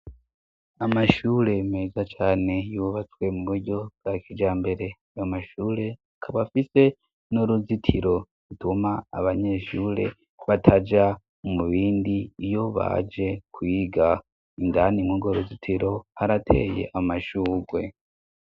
Amashure meza cane yubatswe mu buryo bwa kijambere, ayo mashureakaba afise n'uruzitiro gituma abanyeshure bataja mu bindi iyo baje kuyiga indani nkugo ruzitiro harateye amashugwe.